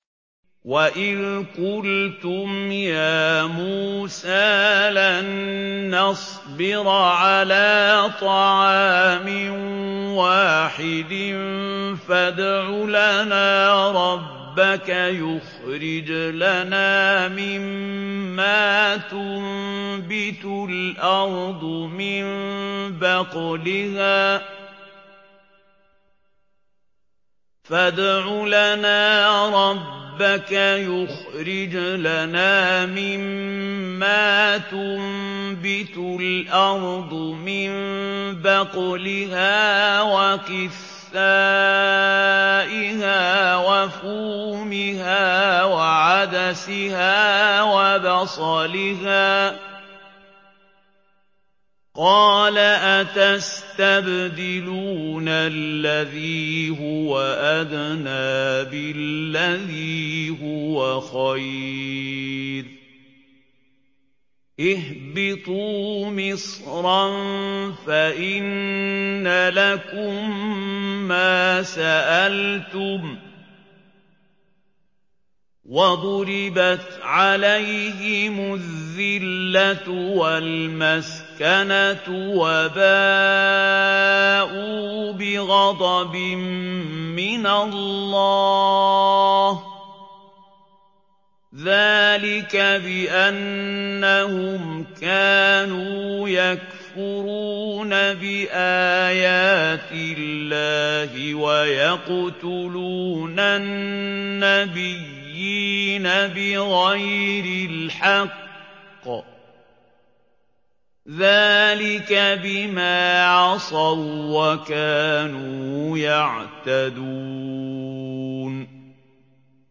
وَإِذْ قُلْتُمْ يَا مُوسَىٰ لَن نَّصْبِرَ عَلَىٰ طَعَامٍ وَاحِدٍ فَادْعُ لَنَا رَبَّكَ يُخْرِجْ لَنَا مِمَّا تُنبِتُ الْأَرْضُ مِن بَقْلِهَا وَقِثَّائِهَا وَفُومِهَا وَعَدَسِهَا وَبَصَلِهَا ۖ قَالَ أَتَسْتَبْدِلُونَ الَّذِي هُوَ أَدْنَىٰ بِالَّذِي هُوَ خَيْرٌ ۚ اهْبِطُوا مِصْرًا فَإِنَّ لَكُم مَّا سَأَلْتُمْ ۗ وَضُرِبَتْ عَلَيْهِمُ الذِّلَّةُ وَالْمَسْكَنَةُ وَبَاءُوا بِغَضَبٍ مِّنَ اللَّهِ ۗ ذَٰلِكَ بِأَنَّهُمْ كَانُوا يَكْفُرُونَ بِآيَاتِ اللَّهِ وَيَقْتُلُونَ النَّبِيِّينَ بِغَيْرِ الْحَقِّ ۗ ذَٰلِكَ بِمَا عَصَوا وَّكَانُوا يَعْتَدُونَ